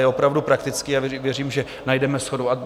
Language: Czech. Je opravdu praktický a věřím, že najdeme shodu.